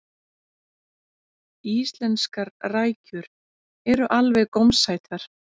íslenskar rækjur eru alveg gómsætar